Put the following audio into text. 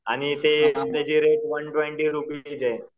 आणि त्याचे rate one twenty रुपये आहे.